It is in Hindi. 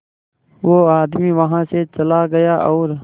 वो आदमी वहां से चला गया और